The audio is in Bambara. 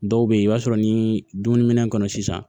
Dɔw bɛ yen i b'a sɔrɔ ni dumuniminɛn kɔnɔ sisan